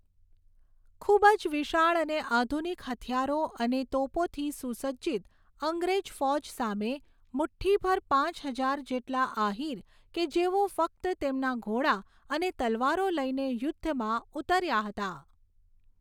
ખુબ જ વિશાળ અને આધુનિક હથિયારો અને તોપોથી સુસજ્જિત અંગ્રેજ ફૌજ સામે મુઠ્ઠીભર પાંચ હજાર જેટલા આહીર કે જેઓ ફક્ત તેમના ઘોડા અને તલવારો લઈને યુદ્ધમાં ઉતર્યા હતા.